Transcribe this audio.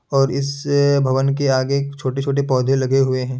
और इस भवन के आगे एक छोटे-छोटे पोधे भी लगे हुवे है ।